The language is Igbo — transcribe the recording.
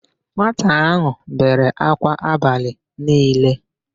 Nwata áhụ̀ bere ákwá abalị niile.